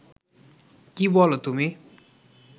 কী বলো তুমি